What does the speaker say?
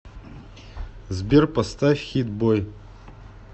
сбер поставь хит бой